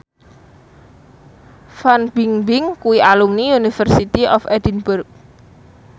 Fan Bingbing kuwi alumni University of Edinburgh